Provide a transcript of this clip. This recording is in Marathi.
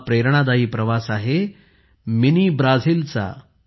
हा प्रेरणादायी प्रवास आहे मिनी ब्राझीलचा